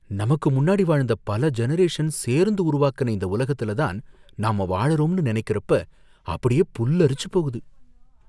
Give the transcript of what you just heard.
நமக்கு முன்னாடி வாழ்ந்த பல ஜெனரேஷன் சேர்ந்து உருவாக்குன இந்த உலகத்துல தான் நாம வாழறோம்னு நினைக்கறப்ப அப்படியே புல்லரிச்சு போகுது